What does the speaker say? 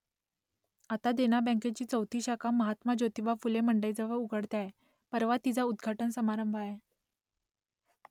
आता देना बँकेची चौथी शाखा महात्मा ज्योतिबा फुले मंडईजवळ उघडते आहे , परवा तिचा उद्घाटन समारंभ आहे